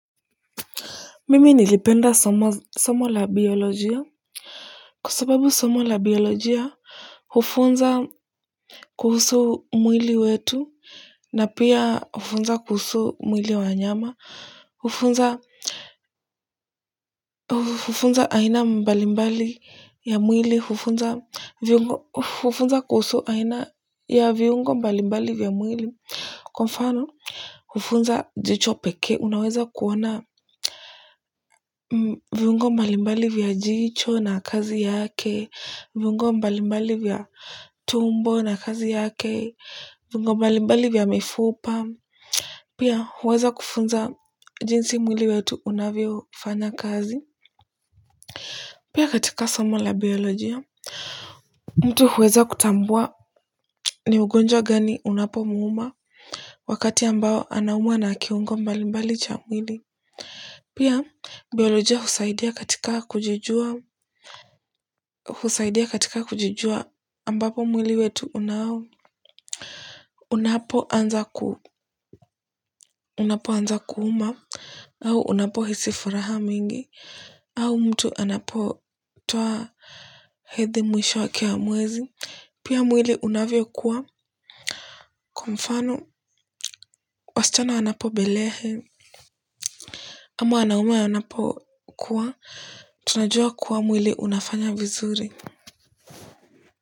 Mimi nilipenda somo la biolojia. Kwa sababu somo la biolojia hufunza kuhusu mwili wetu, na pia hufunza kuhusu mwili wa wanyama, hufunza, hufunza aina mbalimbali ya mwili, hufunza kuhusu aina ya viungo mbalimbali vya mwili, kwa mfano, hufunza jicho pekee, unaweza kuona viungo mbalimbali vya jicho na kazi yake. Viungo mbalimbali vya tumbo na kazi yake, viungo mbalimbali vya mifupa, pia huweza kufunza jinsi mwili wetu unavyofanya kazi, pia katika somo la biolojia mtu huweza kutambua ni ugonjwa gani unapomuuma wakati ambao anaumwa na kiungo mbalimbali cha mwili, pia biolojia husaidia katika kujijua, husaidia katika kujujua, ambapo mwili wetu unapoanza ku unapoanza kuuma, au unapohisi furaha mingi, au mtu anapotoa hedhi mwisho wake wa mwezi, pia mwili unavyokua kwa mfano, wasichana wanapobalehe, ama wanaume wanapokua, tunajua kuwa mwili unafanya vizuri.